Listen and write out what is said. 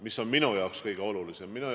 Mis on minu jaoks kõige olulisem?